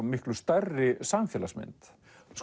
miklu stærri samfélagsmynd